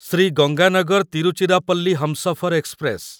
Shri Ganganagar Tiruchirappalli Humsafar express